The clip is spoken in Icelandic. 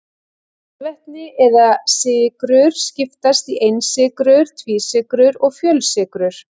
Kolvetni eða sykrur skiptast í einsykrur, tvísykrur og fjölsykrur.